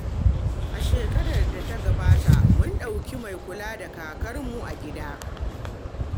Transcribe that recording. A shekarar da ta gabata, mun ɗauki mai kula da kakarmu a gida.